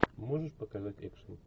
можешь показать экшен